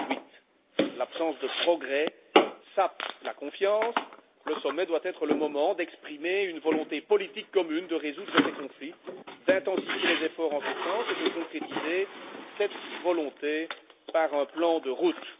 2008. L'absence de progrès sape la confiance, le sommet doit être le moment d'exprimer une volonté politique commune de résoudre ces conflits, d'intensifier les efforts en ce sens et de concrétiser cette volonté par un plan de route.